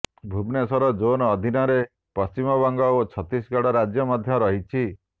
Bhubaneswar zone ଅଧୀନରେ ପଶ୍ଚିମବଙ୍ଗ ଓ ଛତିଶଗଡ଼ ରାଜ୍ୟ ମଧ୍ୟ ରହିଛି